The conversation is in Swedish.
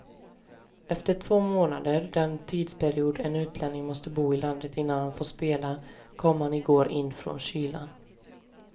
Efter två månader, den tidsperiod en utlänning måste bo i landet innan han får spela, kom han igår in från kylan.